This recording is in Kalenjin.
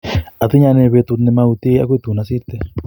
Atinye ane betut nimautie akoi tun asirte.